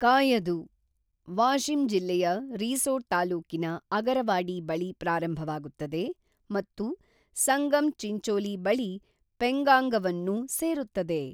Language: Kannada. "ಕಾಯದು, ವಾಶಿಮ್ ಜಿಲ್ಲೆಯ ರಿಸೋಡ್ ತಾಲೂಕಿನ ಅಗರವಾಡಿ ಬಳಿ ಪ್ರಾರಂಭವಾಗುತ್ತದೆ ಮತ್ತು ಸಂಗಮ್ ಚಿಂಚೋಲಿ ಬಳಿ ಪೆಂಗಾಂಗವನ್ನು ಸೇರುತ್ತದೆ